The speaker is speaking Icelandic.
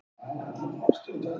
Hvaða orð er það?